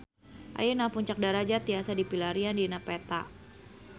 Ayeuna Puncak Darajat tiasa dipilarian dina peta